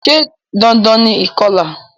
Se dandan ni ìkolà?